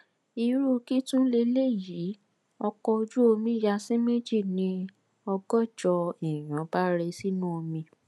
irú kí tún lélẹyìí ọkọ ojú omi ya sí méjì ni ọgọjọ èèyàn bá rẹ sínú omi